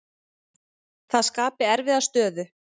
Það skapi erfiða stöðu.